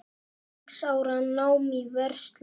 Sex ára nám í Versló.